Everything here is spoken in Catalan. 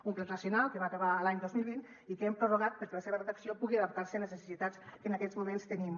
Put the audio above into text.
un pla nacional que va acabar l’any dos mil vint i que hem prorrogat perquè la seva redacció pugui adaptar se a les necessitats que en aquests moments tenim